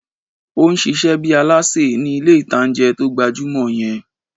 Ó n ṣiṣẹ́ bíi alásè ní ilé ìtanjẹ́ tó gbajúmọ̀ yẹn